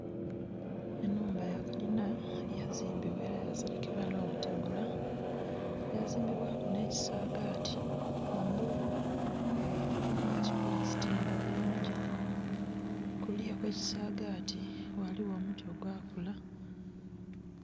Enhumba yakalinha yazimbibwa era yaserekebwa nhobutegula, yazimbibwa ku nhekisagati kungulu bagibbulasitinga bulungi kuluya okwekisagati ghaligho omuti ogwa kula.